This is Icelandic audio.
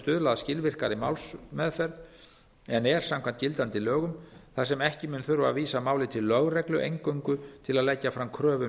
stuðla að skilvirkari málsmeðferð en er samkvæmt gildandi lögum þar sem ekki mun þurfa að vísa máli til lögreglu eingöngu til að leggja fram kröfu um